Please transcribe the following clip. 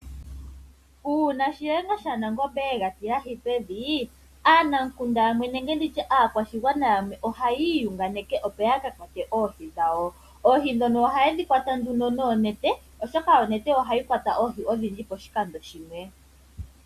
Uuna shiyenga shanangombe yega tilahi pevi aanamukunda yamwe ohaya iyunganeke opo ya ka kwate oohi dhawo. Oohi ndhono ohaye shikwata noonete oshoka onete ohayi kwata oohi odhindji poshikando shimwe.